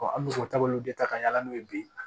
an bɛ sɔrɔ taabolo de ta ka yala n'o ye bi